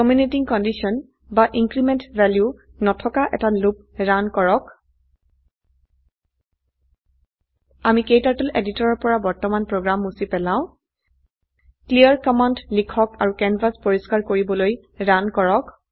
terminating condition বা increment value নথকা এটা লুপ ৰান কৰক আমি ক্টাৰ্টল এডিটৰৰ পৰা বৰ্তমান প্ৰোগ্ৰাম মুছি পেলাও ক্লিয়াৰ কমান্ড লিখক আৰু ক্যানভাস পৰিষ্কাৰ কৰিবলৈ ৰান কৰক